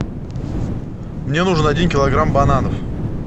мне нужен один килограмм бананов